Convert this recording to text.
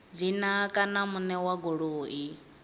dzina kana muṋe wa goloi